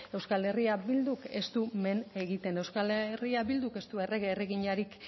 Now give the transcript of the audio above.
euskal herria bilduk ez du men egiten euskal herria bilduk ez du errege erreginarik